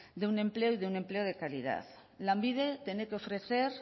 de un empleo y de un empleo de calidad lanbide tiene que ofrecer